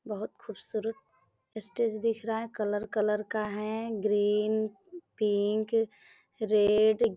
बोहोत खूबसूरत स्टेज दिख रहा है | कलर कलर का है ग्रीन पिंक रेड --